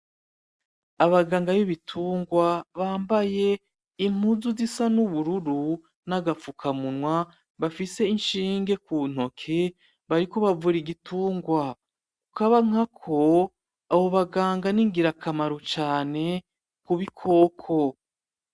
Abaganga b’ibitungwa bambaye impuzu zisa n’ubururu n’agapfuka munwa, bafise inshinge mu ntoke bariko bavura igitungwa. Kukabankako, abo baganga ni ngira kamaro cane ku bikoko.